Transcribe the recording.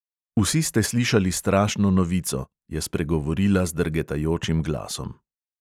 "Vsi ste slišali strašno novico," je spregovorila z drgetajočim glasom.